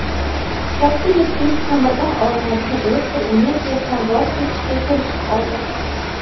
"Katta yettilik" ko‘mirdan olinadigan elektr energiyasidan voz kechishga kelishib oldi.